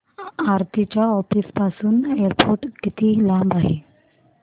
आरती च्या ऑफिस पासून एअरपोर्ट किती लांब आहे